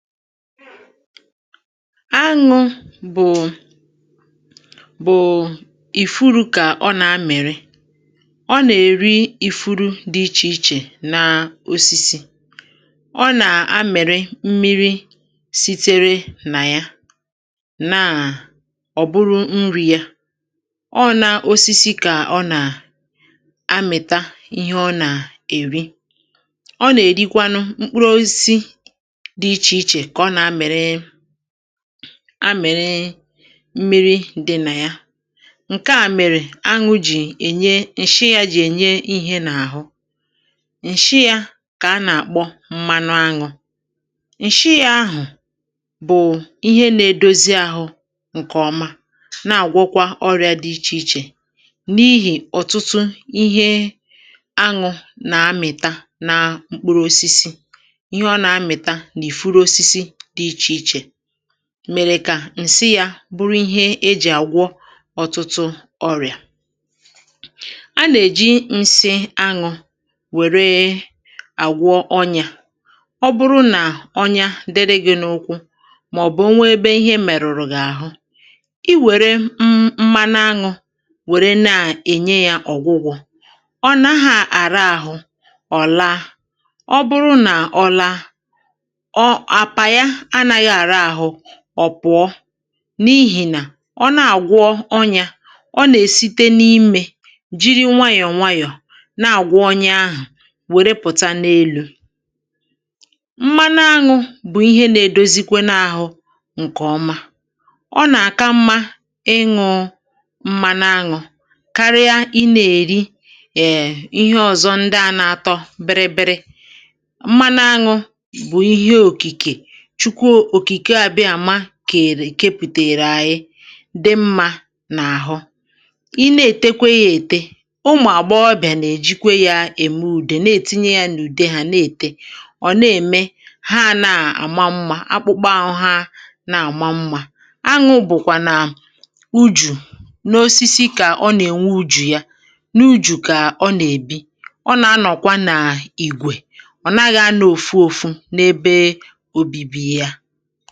Aṅụ bụ ànyịrị na-eri ifuru. Ọ na-eri ifuru dị iche iche, ọ na-aṅụkwa mmiri si n’ime ha, nke ahụ bụ nri ya. Ọ na-eri osisịkwa ka ọ na-anakọta ihe ọ chọrọ. N’ebe ahụ, mmiri ahụ jikọtara na anyanwụ ma gbanwee ihe, nke ahụ bụ ihe a na-akpọ mmanụ aṅụ. Mmanụ aṅụ bụ nri na-edozi ahụ, na-eme ka ahụ dị mma, ma na-agwọkwa ọrịa dị iche iche. Ụfọdụ mgbe, ihe ọ na-anakọta n’ime mkpụrụosisi na osisi na-enyekwa aka ime ka mmanụ aṅụ bụrụ ihe a na-eji agwọ ọrịa dị iche iche. Ụmụ mmadụ na-eji mmanụ aṅụ agwọ ọnyá. Ọ bụrụ na i nwere ọnyá n’ụkwụ gị ma ọ bụ n’ebe ọzọ, i nwere ike itinye mmanụ aṅụ n’elu ya ka o gwọọ. Ọ naghị akpụ akwa n’ahụ, ma ọ bụrụ na ọnyá ahụ nwere ọrịa, mmanụ aṅụ ga-apụpụ ya nwayọ nwayọ, ruo mgbe ọnyá ahụ gwọrọ. Mmanụ aṅụ bụkwa nri dị ezigbo mma n’ahụ. Ọ ka mma ịṅụ mmanụ aṅụ um karịa iri shuga. E nwekwara ihe ndị ọzọ a na-eji mmanụ aṅụ eme. Dịka ọmụmaatụ, um anyị na-eji mmanụ aṅụ jikọta ya na ude ka ọ bụrụ ọgwụ-ete. Mgbe e tinyere ya n’ahụ, ọ na-eme ka akpụkpọ ahụ dị mma ma maa mma. Aṅụ na-ebikwa n’ime ùjù ha na-ewu n’osisi. Ha na-ebi ọnụ n’otu, ha anaghị agbasa agbasa.